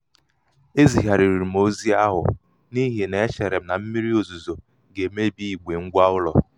e yigharịrị m ozi ahụ n'ihi na e chere m na mmírí ozuzo ga-emebi igbe ngwa ụlọ.